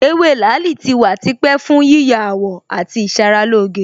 Ewé làálì tí wà tipẹ́ fún yíya àwọ̀ àti ìṣaralóge